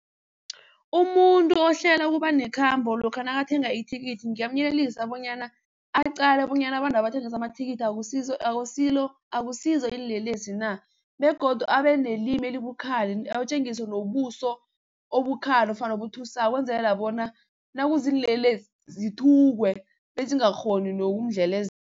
Umuntu ohlela ukuba nekhambo lokha nakathenga ithikithi ngingamyelelisa bonyana aqale bonyana abantwaba abathengisa amathikithi akusizo iinlelesi na? Begodu abenelimi elibukhali atjengise nobuso obukhali ofana obuthusako ukwenzelelela bona nakuziinlelesi zithukwe bezingakghoni